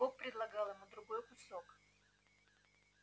бог предлагал ему другой кусок